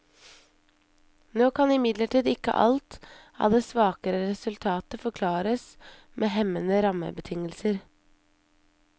Nå kan imidlertid ikke alt av det svakere resultatet forklares med hemmende rammebetingelser.